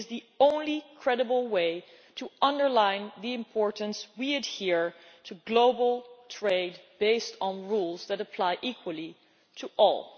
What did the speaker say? It is the only credible way to underline the importance that we adhere to global trade based on rules that apply equally to all.